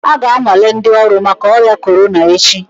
A ga-anwale ndị ọrụ maka ọrịa corona echi